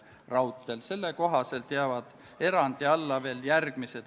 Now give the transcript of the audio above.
Ma palun ettekandjaks riigikaitsekomisjoni liikme Johannes Kerdi.